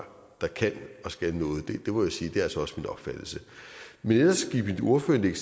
der kan og skal noget må jeg sige altså også opfattelse men ellers gik mit ordførerindlæg